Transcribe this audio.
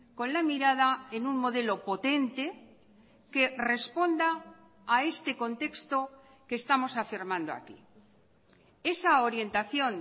con la mirada en un modelo potente que responda a este contexto que estamos afirmando aquí esa orientación